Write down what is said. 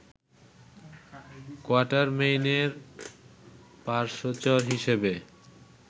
কোয়াটারমেইনের পার্শ্বচর হিসেবে